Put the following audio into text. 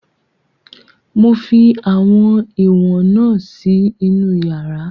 Mo fi àwọn ìwọ̀n na si inú yàrá